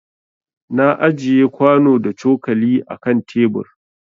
Na ajiƴe kwano da cokali a ƙan tebur.